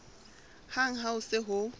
hang ha ho se ho